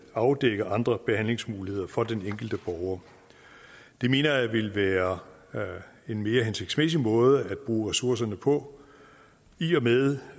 afdække andre behandlingsmuligheder for den enkelte borger det mener jeg vil være en mere hensigtsmæssig måde at bruge ressourcerne på i og med